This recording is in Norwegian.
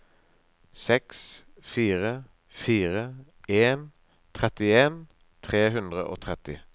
seks fire fire en trettien tre hundre og tretti